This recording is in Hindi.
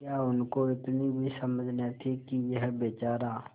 क्या उनको इतनी भी समझ न थी कि यह बेचारा